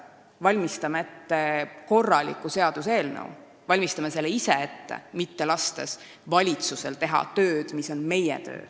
Valmistame ise ette korraliku seaduseelnõu, laskmata valitsusel teha tööd, mis on meie töö.